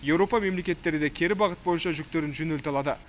еуропа мемлекеттері де кері бағыт бойынша жүктерін жөнелте алады